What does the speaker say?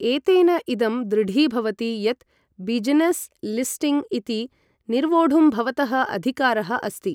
एतेन इदं दृढीभवति यत् बिजनेस् लिस्टिंग् इति निर्वोढुं भवतः अधिकारः अस्ति।